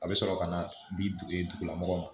A bɛ sɔrɔ ka na di dugulamɔgɔ ma